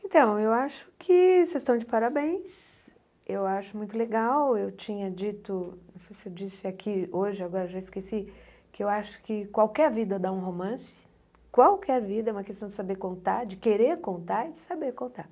Então, eu acho que vocês estão de parabéns, eu acho muito legal, eu tinha dito, não sei se eu disse aqui hoje, agora já esqueci, que eu acho que qualquer vida dá um romance, qualquer vida é uma questão de saber contar, de querer contar e de saber contar.